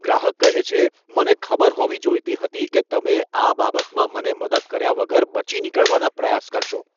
ગ્રાહક કહે છે, મને ખબર હોવી જોઈતી હતી કે તમે આ બાબતમાં મને મદદ કર્યા વગર બચી નીકળવાના પ્રયાસ કરશો.